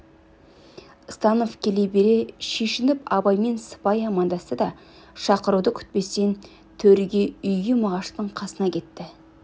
станов келе бере шешініп абаймен сыпайы амандасты да шақыруды күтпестен төргі үйге мағаштың қасына кетті